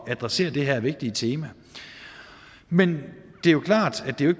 at adressere det her vigtige tema men det er klart at det